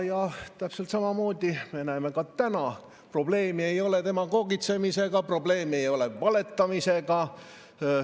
Ja täpselt sama me näeme ka täna: probleemi ei ole demagoogitsemisega, probleemi ei ole valetamisega.